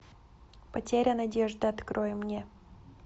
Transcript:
потеря надежды открой мне